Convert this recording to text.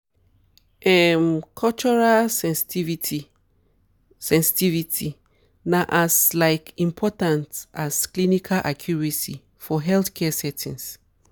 um cultural sensitivity sensitivity na as laik important as clinical accuracy for healthcare settings.